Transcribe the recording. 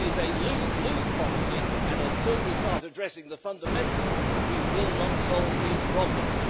It is a lose lose policy, and until we start addressing the fundamentals we will not solve these problems.